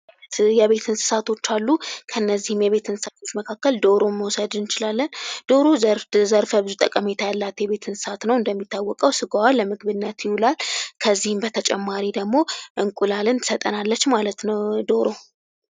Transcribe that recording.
የቤት እንስሳቶች አሉ። ከእነዚህ የቤት እንስሳት መካከል ዶሮን መዉሰድ እንችላለን። ዶሮ ዘርፈ ብዙ ጠቀሜታ ያላት የቤት አሰንስሳ ነዉ። እንደሚታወቀዉ ስጋዋ ለምግብነት ይዉላል ከዚል በተጨማሪም እንቁላልን ትሰጠናለች ማለት ነዉ ዶሮ።